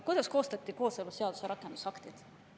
Kuidas koostati kooseluseaduse rakendusaktid?